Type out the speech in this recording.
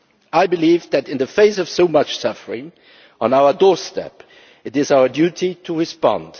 I believe that, in the face of so much suffering on our doorstep, it is our duty to respond.